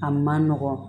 A man nɔgɔn